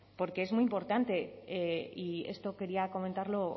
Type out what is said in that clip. porque es muy importante y esto quería comentarlo